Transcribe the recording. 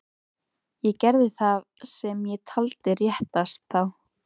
Ég gerði það sem ég taldi réttast. þá.